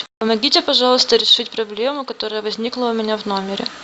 помогите пожалуйста решить проблему которая возникла у меня в номере